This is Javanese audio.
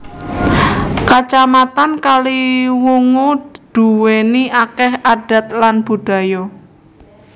Kacamatan Kaliwungu duwéni akeh adat lan budaya